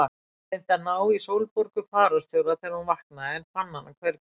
Reyndi að ná í Sólborgu fararstjóra þegar hún vaknaði en fann hana hvergi.